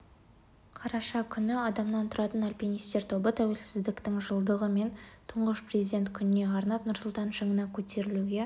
қараша күні адамнан тұратын альпинистер тобы тәуелсіздіктің жылдығы мен тұңғыш президенті күніне арнап нұрсұлтан шыңына көтерілуге